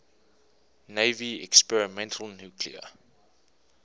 navy experimental nuclear